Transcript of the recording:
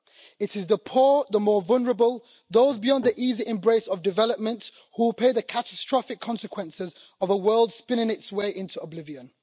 It is the poor, the more vulnerable, those beyond the easy embrace of development who will pay the catastrophic consequences of a world spinning its way into oblivion.